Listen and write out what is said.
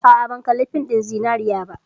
A'a, ban kalli fin ɗin Zinariya ba.